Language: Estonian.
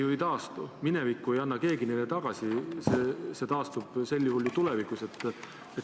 Ei taastu, minevikku ei anna keegi tagasi, see taastub sel juhul tulevikus.